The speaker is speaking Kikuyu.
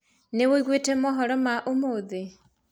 Nĩ wiguĩte mohoro ma ũmũthĩ?